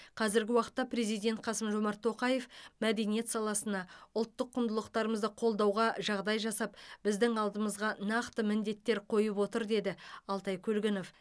қазіргі уақытта президент қасым жомарт тоқаев мәдениет саласына ұлттық құндылықтарымызды қолдауға жағдай жасап біздің алдымызға нақты міндеттер қойып отыр деді алтай көлгінов